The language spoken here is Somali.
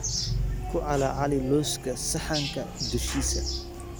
Ku calaali lowska saxanka dushiisa.